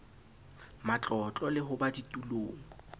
matlotlo le ho ba ditulong